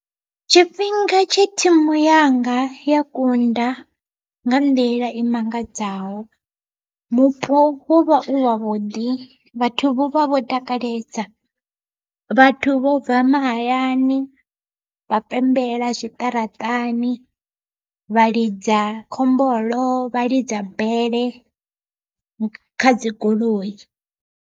Tshifhinga tshe thimu yanga ya kunda nga nḓila i mangadzaho, mupo wovha u wavhuḓi vhathu vha vho takalesa. Vhathu vho bva mahayani vha pembela zwiṱaraṱani vha lidza khombolo vha lidza bele kha dzigoloi.